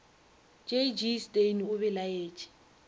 j g steyn o belaetše